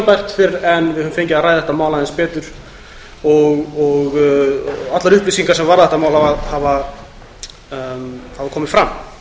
tímabært fyrr en við höfum fengið að ræða þetta mál aðeins betur og allar upplýsingar sem varða það hafa komið fram